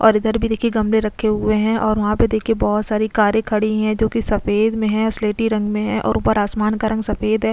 और इधर भी देखिये गमले रखे हुए है और वहाँ पे देखिये बहुत सारी कारे खड़ी है जो कि सफ़ेद मे है स्लेटी रंग मे है और ऊपर आसमान का रंग सफ़ेद है।